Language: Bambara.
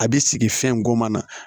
A bɛ sigi fɛn goma na